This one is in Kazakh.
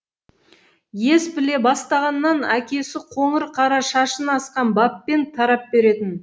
ес біле бастағаннан әкесі қоңыр қара шашын асқан баппен тарап беретін